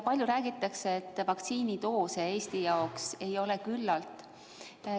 Palju räägitakse, et vaktsiinidoose Eesti jaoks ei piisa.